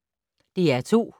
DR2